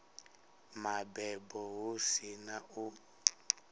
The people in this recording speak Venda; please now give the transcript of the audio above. mabebo hu si na u